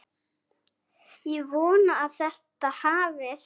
Ég vona að þetta hafist.